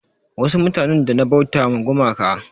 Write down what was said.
Wasu mutanin da na bauta ma gumaka